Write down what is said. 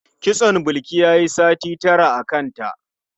Kitson Bilki yayi sati tara a kanta.